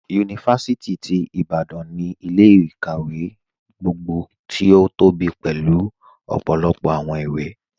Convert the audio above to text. Yunifásìtì ti Ìbàdàn ni ilẹ̀-ikáwẹ̀ gbogbo tí o tóbí pélu ọpọlọpọ awọn ìwé.